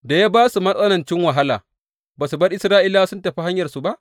Da ya ba su matsanancin wahala, ba su bar Isra’ilawa suka tafi hanyarsu ba?